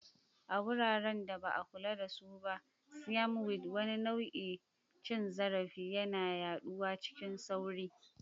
A wuraren da ba a kula da su ba, Siam weed, wani nau'in cin zarafi, yana yaduwa cikin sauri.